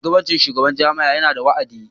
Shugabancin shugaban jami'a yana da wa'adi.